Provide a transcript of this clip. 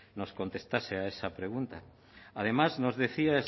nos contestase a esa pregunta además nos decía